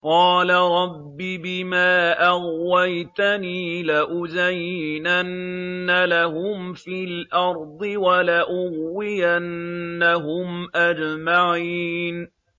قَالَ رَبِّ بِمَا أَغْوَيْتَنِي لَأُزَيِّنَنَّ لَهُمْ فِي الْأَرْضِ وَلَأُغْوِيَنَّهُمْ أَجْمَعِينَ